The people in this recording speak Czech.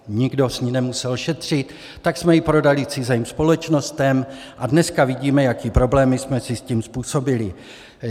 Nikdo s ní nemusel šetřit, tak jsme ji prodali cizím společnostem a dneska vidíme, jaké problémy jsme si s tím způsobili.